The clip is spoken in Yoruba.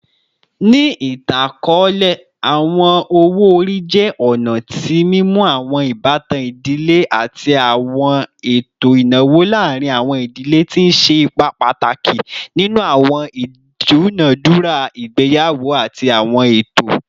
Ni itan-akọọlẹ, awọn owo-ori jẹ ọna ti mimu awọn ibatan idile ati awọn eto inawo laarin awọn idile, ti n ṣe ipa pataki ninu awọn idunadura igbeyawo ati awọn eto.